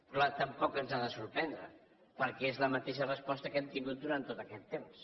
clar tampoc ens ha de sorprendre perquè és la mateixa resposta que hem tingut durant tot aquest temps